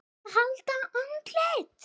AÐ HALDA ANDLITI